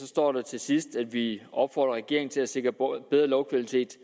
står der til sidst at vi opfordrer regeringen til at sikre bedre lovkvalitet